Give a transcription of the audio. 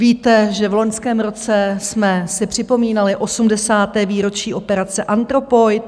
Víte, že v loňském roce jsme si připomínali 80. výročí operace Anthropoid.